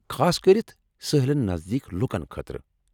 خاصکٔرتھ سٲحِلن نزدیك لُکن خٲطرٕ ۔